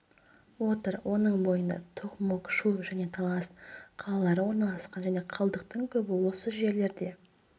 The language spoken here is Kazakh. отыр оның бойында токмок шу және талас тараз қалалары орналасқан және қалдықдың көбі осы жерлерде